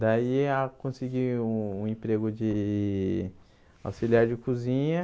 Daí ah eu consegui um emprego de auxiliar de cozinha.